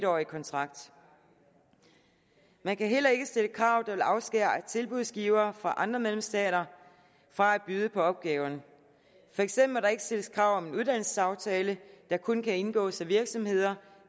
årig kontrakt man kan heller ikke stille krav der vil afskære tilbudsgivere fra andre medlemsstater fra at byde på opgaverne for eksempel må der ikke stilles krav om en uddannelsesaftale der kun kan indgås af virksomheder